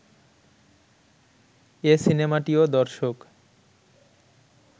এ সিনেমাটিও দর্শক